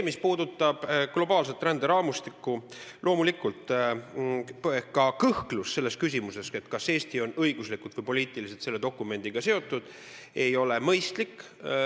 Mis puudutab globaalset ränderaamistikku, siis loomulikult, ka kõhklus selles küsimuses, kas Eesti on õiguslikult või poliitiliselt selle dokumendiga seotud, ei ole mõistlik.